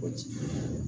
Kɔji